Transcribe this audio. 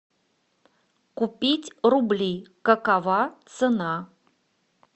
купить рубли какова цена